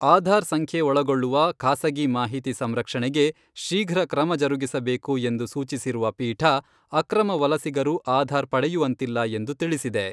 ಆಧಾರ್ ಸಂಖ್ಯೆ ಒಳಗೊಳ್ಳುವ ಖಾಸಗಿ ಮಾಹಿತಿ ಸಂರಕ್ಷಣೆಗೆ ಶೀಘ್ರ ಕ್ರಮ ಜರುಗಿಸಬೇಕು ಎಂದು ಸೂಚಿಸಿರುವ ಪೀಠ, ಅಕ್ರಮ ವಲಸಿಗರು ಆಧಾರ್ ಪಡೆಯುವಂತಿಲ್ಲ ಎಂದು ತಿಳಿಸಿದೆ.